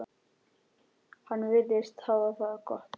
Hann virðist hafa það gott.